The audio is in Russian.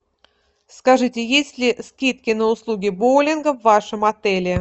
скажите есть ли скидки на услуги боулинга в вашем отеле